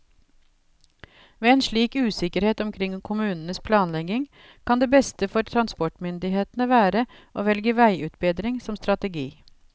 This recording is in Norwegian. Ved en slik usikkerhet omkring kommunenes planlegging kan det beste for transportmyndighetene være å velge veiutbedring som strategi.